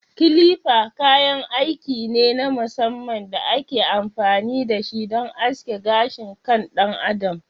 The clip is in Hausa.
Clipper kayan aiki ne na musamman da ake amfani da shi don aske gashin kan ɗan adam.